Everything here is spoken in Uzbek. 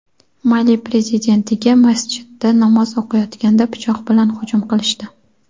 Mali Prezidentiga masjidda namoz o‘qiyotganda pichoq bilan hujum qilishdi.